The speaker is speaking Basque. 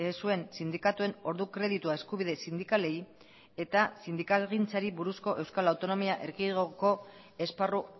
zuen sindikatuen ordu kreditua eskubide sindikalei eta sindikalgintzari buruzko euskal autonomia erkidegoko esparru